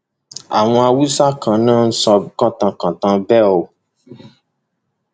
àwọn haúsá kan ni wọn ń sọ kántàn kantan bẹẹ o